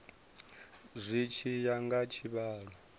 zwi tshi ya nga tshivhalo